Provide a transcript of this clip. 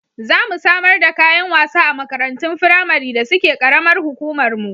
Za mu samar da kayan wasa a makarantun firamari da suke ƙaramar hukumarmu.